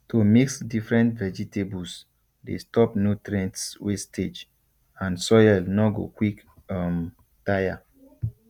to mix different vegetables dey stop nutrients wastage and soil nor go quick um tire